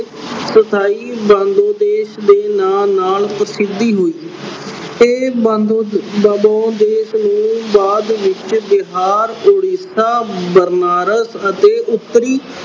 ਸਥਾਈ ਬੰਗਲਾ ਦੇਸ਼ ਦੇ ਨਾਲ-ਨਾਲ ਪ੍ਰਸਿੱਧੀ ਹੋਈ। ਇਹ ਬੰਗਲਾ ਅਹ ਬੰਗਲਾਦੇਸ਼ ਨੇ ਬਾਅਦ ਵਿੱਚ ਬਿਹਾਰ, ਉੜੀਸਾ, ਬਨਾਰਸ ਅਤੇ ਉੱਤਰੀ